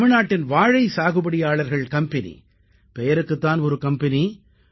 தமிழ்நாட்டின் வாழை சாகுபடியாளர்கள் கம்பெனி பெயருக்குத் தான் ஒரு கம்பெனி